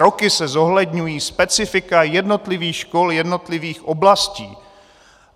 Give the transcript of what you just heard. Roky se zohledňují specifika jednotlivých škol jednotlivých oblastí.